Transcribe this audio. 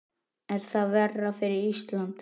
Er það verra fyrir Ísland?